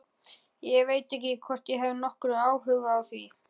Ég veit ekki hvort ég hef nokkurn áhuga á því.